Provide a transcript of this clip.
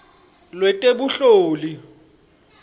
lwetebunhloli